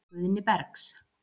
Guðni Bergs.